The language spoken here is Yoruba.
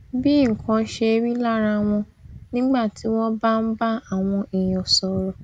bí nǹkan ṣe rí lára wọn nígbà tí wón bá ń bá àwọn èèyàn sòrò